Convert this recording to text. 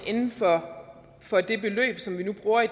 inden for for det beløb som vi nu i